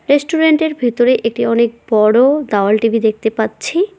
রেস্টুরেন্টের ভেতরে একটি অনেক বড় দাওয়াল টি_ভি দেখতে পাচ্ছি।